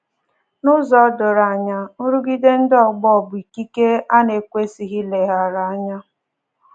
N’ụzọ doro anya, nrụgide ndị ọgbọ bụ ikike a na-ekwesịghị ileghara anya